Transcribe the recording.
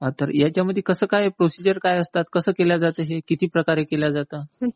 तर ह्यांच्यामध्ये कसं काय? प्रोसिजर काय असतात? कसं केलं जातं हे? किती प्रकारे केलं जातं?